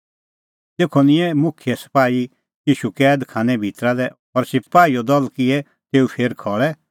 तेखअ निंयं मुखिये सपाही ईशू कैद खानै भितरा लै और सपाहीओ दल किऐ तेऊ फेर खल़ै